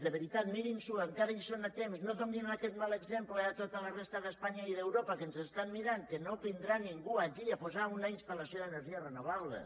de veritat mirin s’ho encara hi són a temps no donin aquest mal exemple a tota la resta d’espanya i d’europa que ens estan mirant que no vindrà ningú aquí a posar una instal·lació d’energies renovables